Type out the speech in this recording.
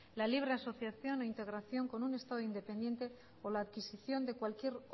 la libre asociación o integración con un estado independiente con la adquisición de cualquier